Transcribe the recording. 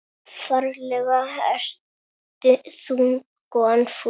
Ferlega ertu þung og andfúl.